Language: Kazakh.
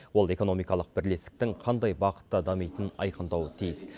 ол экономикалық бірлестіктің қандай бағытта дамитынын айқындауы тиіс